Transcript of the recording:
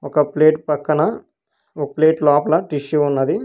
ఒక ప్లేట్ పక్కన ఒక ప్లేట్ లోపల టిష్యూ ఉన్నది